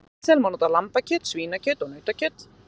Í snitsel má nota lambakjöt, svínakjöt og nautakjöt.